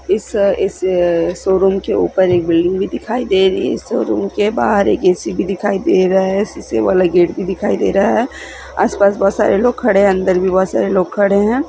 इस शोरूम के ऊपर एक बिल्डिंग दिखाई दे रही है शोरूम के बाहर एक ऐ_सी भी दिखाई दे रहा है शीशे वाला गेट भी दिखाई दे रहा है आसपास बहुत सारे लोग खड़े हैं अंदर भी बहुत सारे लोग खड़े हैं।